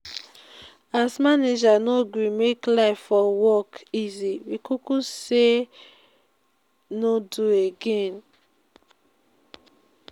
as manager no gree make life for work easy we kuku sey we no do again.